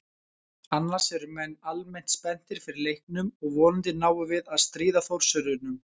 Annars eru menn almennt spenntir fyrir leiknum og vonandi náum við að stríða Þórsurunum.